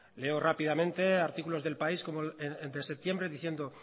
leo rápidamente artículos de el país de septiembre diciendo